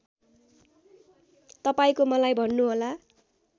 तपाईँको मलाई भन्नुहोला